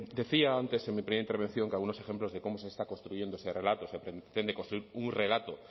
decía antes en mi primera intervención que algunos ejemplos de cómo se está construyendo ese relato se pretende construir un relato